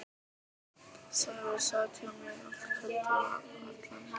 Sævar sat hjá mér allt kvöldið og allan næsta dag.